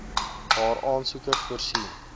waar aansoekers voorsien